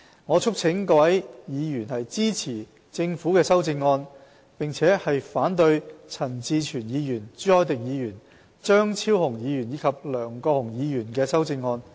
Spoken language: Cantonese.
我促請各位委員支持政府的修正案，並反對陳志全議員、朱凱廸議員、張超雄議員及梁國雄議員的修正案。